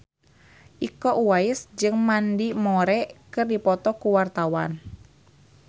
Iko Uwais jeung Mandy Moore keur dipoto ku wartawan